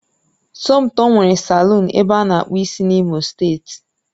Somtoo nwere salọ̀ọ̀n ebe ana akpụ ịsị n'imo steeti